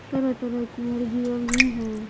तरह-तरह की मुर्गियां भी हैं।